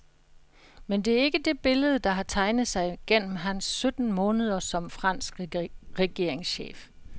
Men det er ikke det billede, der har tegnet sig gennem hans sytten måneder som fransk regeringschef.